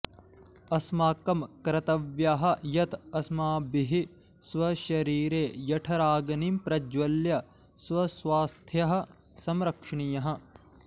अस्माकं कर्तव्यः यत् अस्माभिः स्वशरीरे जठराग्निं प्रज्ज्वल्य स्वस्वास्थ्यः संरक्षणीयः